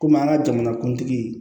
Komi an ka jamanakuntigi